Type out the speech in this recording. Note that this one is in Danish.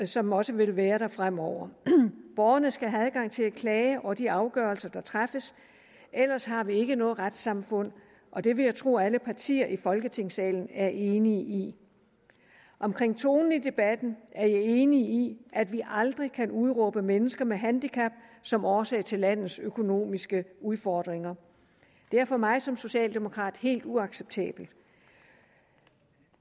som også vil være der fremover borgerne skal have adgang til at klage over de afgørelser der træffes ellers har vi ikke noget retssamfund og det vil jeg tro alle partier i folketingssalen er enige i omkring tonen i debatten er jeg enig i at vi aldrig kan udråbe mennesker med handicap som årsag til landets økonomiske udfordringer det er for mig som socialdemokrat helt uacceptabelt